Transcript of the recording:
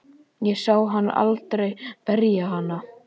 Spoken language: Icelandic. Ég sá hann aldrei berja hana.